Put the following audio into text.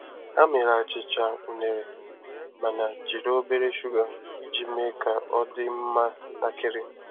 Ha mere achịcha unere mana jiri obere shuga iji mee ka ọ dị mma ntakịrị.